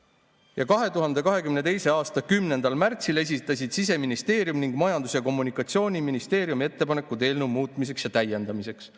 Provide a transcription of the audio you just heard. Ja 2022. aasta 10. märtsil esitasid Siseministeerium ning Majandus- ja Kommunikatsiooniministeerium ettepanekud eelnõu muutmiseks ja täiendamiseks.